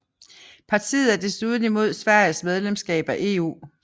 Partiet er desuden imod Sveriges medlemskab af EU